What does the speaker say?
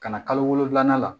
Ka na kalo wolonwula la